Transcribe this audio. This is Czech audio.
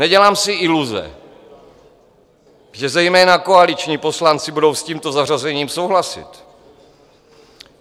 Nedělám si iluze, že zejména koaliční poslanci budou s tímto zařazením souhlasit.